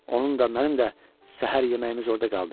Onun da, mənim də səhər yeməyimiz orada qaldı.